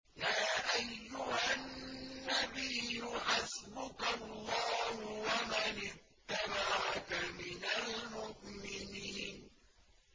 يَا أَيُّهَا النَّبِيُّ حَسْبُكَ اللَّهُ وَمَنِ اتَّبَعَكَ مِنَ الْمُؤْمِنِينَ